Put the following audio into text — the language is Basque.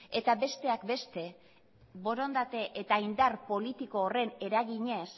eta besteak beste borondate eta indar politiko horren eraginez